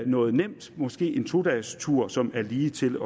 noget nemt måske en to dagestur som er ligetil